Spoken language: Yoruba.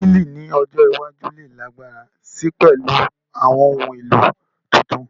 Wíìlì ní ọjọ́ iwájú lè lágbára si pẹ̀lú àwọn ohun èlò tuntun